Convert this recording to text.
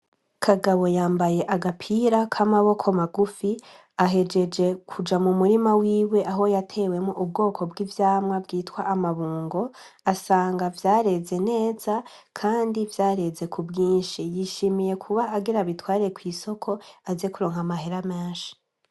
Kagabo yambaye agapira k'amaboko magufi ahejeje kuja mu murima wiwe aho yatewemo ubwoko bw'ivyamwa bwitwa amabungo asanga vyareze neza, kandi vyareze ku bwinshi yishimiye kuba agera bitware kw'isoko aze kuronka amahera menshi.